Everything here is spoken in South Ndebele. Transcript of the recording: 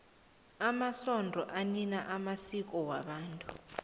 amasonto anina amasiko wabantu